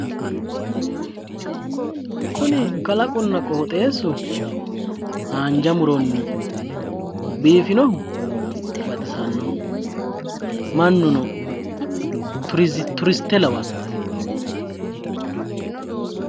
Kuni kalaqunna qoxeessu haanja muronni biifinohu baxisannoho mannuno turiste lawanno.